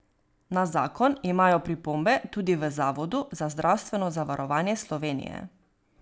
Na zakon imajo pripombe tudi v Zavodu za zdravstveno zavarovanje Slovenije.